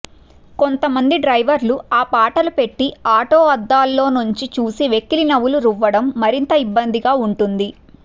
కొంతమంది డ్రైవర్లు ఆ పాటలు పెట్టి ఆటో అద్దాల్లో నుంచి చూసి వెకిలినవ్వులు రువ్వడం మరింత ఇబ్బందిగా ఉంటుంది